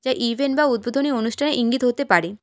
এ event বা উদ্বোধনী অনুষ্ঠানের ইঙ্গিত হতে পারে।